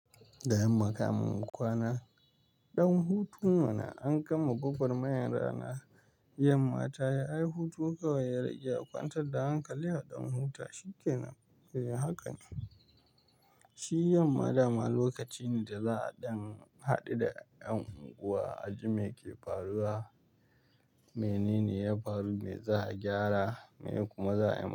Da yamma kamin in kwana, ɗan hutu mana an gama gogwarmayar rana. Yamma ta yi hutu kawai ya rage a kwantar da hankali a ɗan huta. Shi ke nan, eh haka ne. Shi yamma dama lokaci ne da za a ɗan haɗu da ƴan yanuwa, a ji me ke faruwa, mene ne ya faru, me za a gyara, me kuma za a yi.